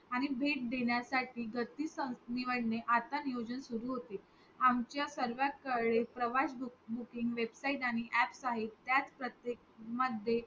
आणि भेट देण्यासाठी गती संग निवडणे आता नियोजन सुरु होते आमच्यासर्वांकडे प्रवास booking Website आणि apps आहेत त्या प्रत्येक मध्ये